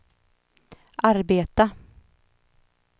arbeta